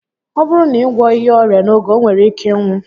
Ọ bụrụ na ị gwọghị ya ọrịa n'oge, o nwere ike ịnwụ